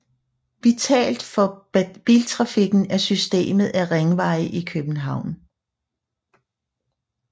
Vitalt for biltrafikken er systemet af ringveje i København